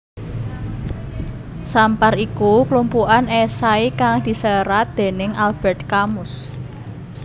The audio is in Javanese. Sampar iku klumpukan esai kang diserat dening Albert Camus